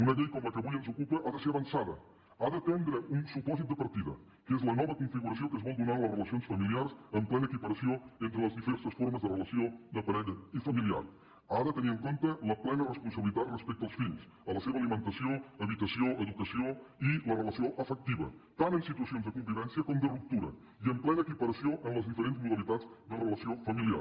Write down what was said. una llei com la que avui ens ocupa ha de ser avançada ha d’atendre un supòsit de partida que és la nova configuració que es vol donar a les relacions familiars amb plena equiparació entre les diverses formes de relació de parella i familiar ha de tenir en compte la plena responsabilitat respecte als fills a la seva alimentació habitació educació i la relació afectiva tant en situacions de convivència com de ruptura i amb plena equiparació amb les diferents modalitats de relació familiar